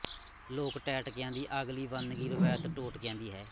ਲੋਕ ਟੈਟਕਿਆਂ ਦੀ ਅਗਲੀਵੰਨਗੀ ਰਵਾਇਤ ਟੋਟਕਿਆਂ ਦੀ ਹੈ